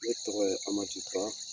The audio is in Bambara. Ne tɔgɔ ye Amadu ba.